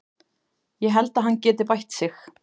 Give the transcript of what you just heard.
Ég held að hann geti bætt sig.